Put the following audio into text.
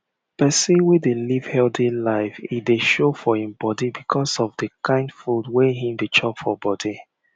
person wey dey live healthy life e dey show for him body because of dey kind food wey him dey chop for body